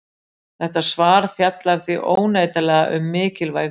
Þetta svar fjallar því óneitanlega um mikilvæg fyrirbæri!